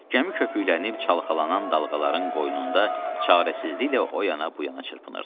Gəmi köpüklənib çalxalanan dalğaların qoynunda çarəsizliklə o yana-bu yana çırpınırdı.